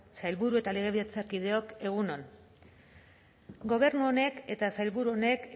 sailburu eta legebiltzarkideok egun on gobernu honek eta sailburu honek